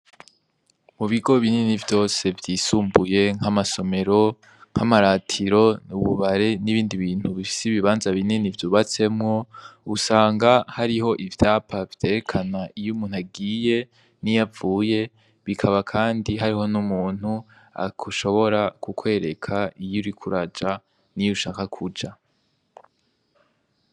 Mu bigo binini vyose vyisumbuye nk'amasomero, nk'amaratiro, ububare n'ibindi bintu bifise ibibanza binini vyubatsemwo, usanga hariho ivyapa vyerekana iyo umuntu agiye n'iyo avuye, bikaba kandi hariho n'umuntu ashobora kukwereka iyo uriko uraja n'iyo ushaka kuja.